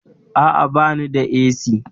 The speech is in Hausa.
Aa, bani da AC